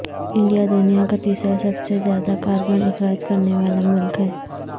India دنیا کا تیسرا سب سے زیادہ کاربن اخراج کرنے والا ملک ہے